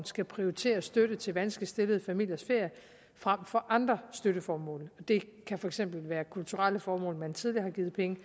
skal prioritere støtte til vanskeligt stillede familiers ferier frem for andre støtteformål det kan for eksempel være kulturelle formål man tidligere har givet penge